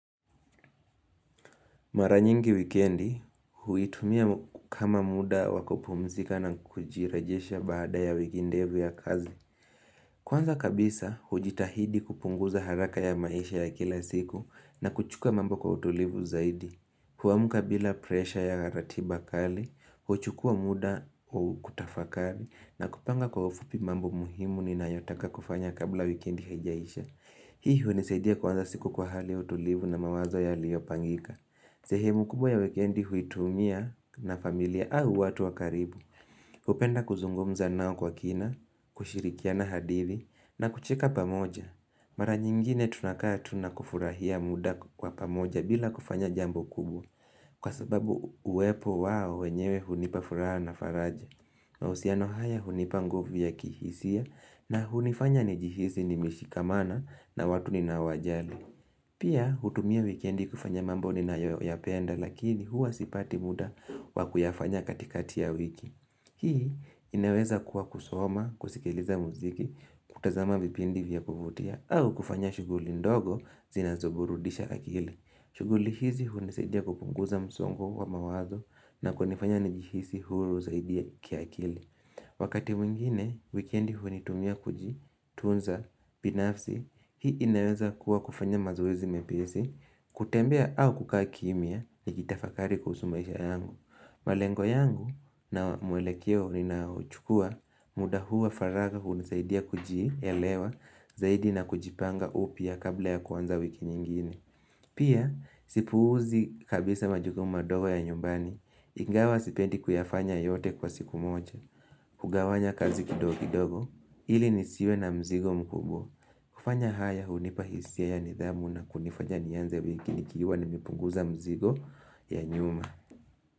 Maranyingi wikiendi, huitumia kama muda wakupumzika na kujirejesha baada ya wiki ndefu ya kazi. Kwanza kabisa, hujitahidi kupunguza haraka ya maisha ya kila siku na kuchuka mambo kwa utulivu zaidi. Huamuka bila presha ya ratiba kali, huchukua muda wa kutafakari na kupanga kwa ufupi mambo muhimu ni na yotaka kufanya kabla wikiendi haijaisha. Hii huenisaidia kwanza siku kwa hali utulivu na mawazo yalio pangika. Sehemu kubwa ya weekendi huitumia na familia au watu wakaribu upenda kuzungumza nao kwa kina, kushirikiana hadhi na kucheka pamoja Mara nyingine tunakaya tunakufurahia muda kwa pamoja bila kufanya jambo kubwa Kwa sababu uwepo wa wenyewe hunipafuraha na faraja na usiano haya hunipa nguvu ya kihisia na hunifanya nijihisi ni mishikamana na watu ninao wajali Pia hutumia wikendi kufanya mambo ni nayo ya penda lakini huwa sipati muda wa kuyafanya katikati ya wiki. Hii inaweza kuwa kusoma, kusikiliza muziki, kutazama vipindi vya kuvutia au kufanya shughuli ndogo zinazoburudisha akili. Shuguli hizi hunisadia kupunguza msongo wa mawazo na kunifanya nijihisi huru zaidia kia akili. Wakati mwingine, wikiendi huitumia kujitunza, pinafsi, hii inaweza kuwa kufanya mazowezi mepesi, kutembea au kukaa kimya ni kitafakari kuhusu maisha yangu. Malengo yangu na muelekeo ninauchukua muda huwa faragha hunisaidia kuji, elewa, zaidi na kujipanga upya kabla ya kuanza wiki nyingine. Pia, sipuuzi kabisa majukuma madogo ya nyumbani, ingawa sipendi kuyafanya yote kwa siku moja, hugawanya kazi kidogo kidogo, ili nisiwe na mzigo mkubwa. Kufanya haya, unipa hisia ya nidhamu na kunifanya nianze wiki nikiwa nimepunguza mzigo ya nyuma.